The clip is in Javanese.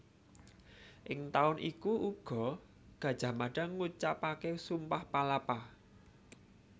Ing taun iku uga Gajah Mada ngucapaké Sumpah Palapa